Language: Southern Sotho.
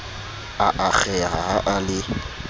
a akgeha ha a le